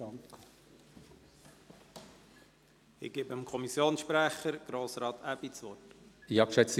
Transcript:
Ich gebe dem Kommissionssprecher, Grossrat Aebi, das Wort.